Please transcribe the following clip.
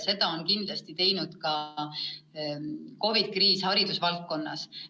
Seda on kindlasti teinud ka COVID-i kriis haridusvaldkonnas.